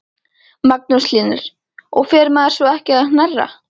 Magnús Hlynur: Og fer maður svo ekki að hnerra?